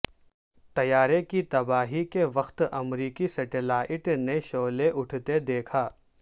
طیارے کی تباہی کے وقت امریکی سیٹلائیٹ نے شعلہ اٹھتے دیکھا